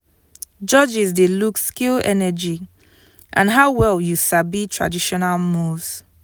judges dey look skill energy and how well you sabi traditional moves.